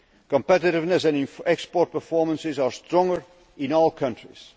Competitiveness and export performances are stronger in all countries.